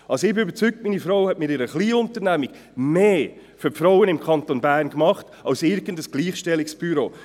Ich bin überzeugt, dass meine Frau mit ihrer Kleinunternehmung mehr für die Frauen im Kanton Bern getan hat als irgendein Gleichstellungsbüro.